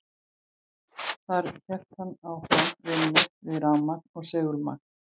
Þar hélt hann áfram vinnu við rafmagn og segulmagn.